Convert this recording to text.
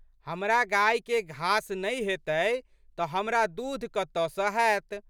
हमरा गाछके घास नै हेतै तऽ हमरा दूध कतऽ स हैत।